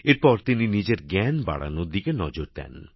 এরপর তিনি নিজের জ্ঞান বাড়ানোর দিকে নজর দেন